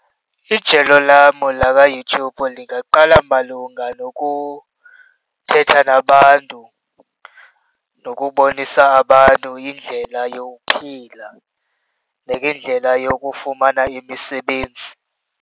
Ijelo lam lakwaYouTube ndingaqala malunga nokuthetha nabantu nokubonisa abantu indlela yokuphila nangendlela yokufumana imisebenzi.